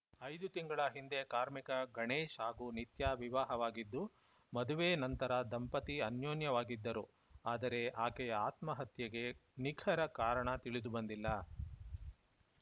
ಐದು ತಿಂಗಳ ಹಿಂದೆ ಕಾರ್ಮಿಕ ಗಣೇಶ್‌ ಹಾಗೂ ನಿತ್ಯಾ ವಿವಾಹವಾಗಿದ್ದು ಮದುವೆ ನಂತರ ದಂಪತಿ ಅನ್ಯೋನ್ಯವಾಗಿದ್ದರು ಆದರೆ ಆಕೆಯ ಆತ್ಮಹತ್ಯೆಗೆ ನಿಖರ ಕಾರಣ ತಿಳಿದು ಬಂದಿಲ್ಲ